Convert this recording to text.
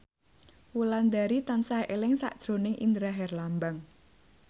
Wulandari tansah eling sakjroning Indra Herlambang